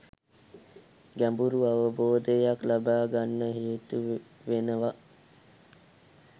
ගැඹුරු අවබෝධයක් ලබාගන්න හේතු වෙනව